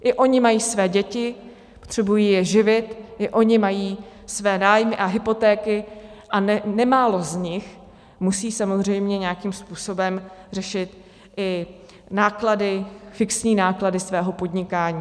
I oni mají své děti, potřebují je živit, i oni mají své nájmy a hypotéky, a nemálo z nich musí samozřejmě nějakým způsobem řešit i náklady, fixní náklady svého podnikání.